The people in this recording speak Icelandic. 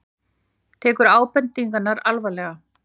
Tekur ábendingarnar alvarlega